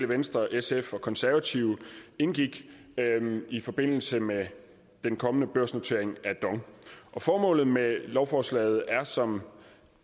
venstre sf og konservative indgik i forbindelse med den kommende børsnotering af dong formålet med lovforslaget er som